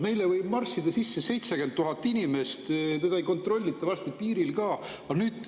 Meile võib marssida sisse 70 000 inimest, keda ei kontrollita varsti piiril ka.